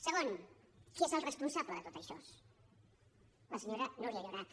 segon qui és el responsable de tot això la senyora núria llorach